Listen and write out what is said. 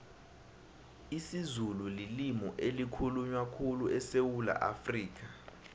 isizulu lilimu elikhulunywa khulu esewula afrikha